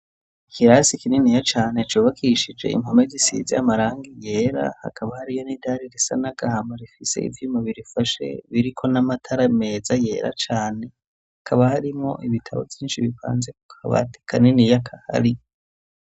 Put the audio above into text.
Ikirasi kininiya cane cubakishije impome zisize amarangi yera hakaba hariyo n'idari risa n'anagahama rifise ivyuma birifashe biriko n'amatara meza yera cane. Hakaba harimwo ibitabo vyinshi bibanze ku kabati kaniniya kahari.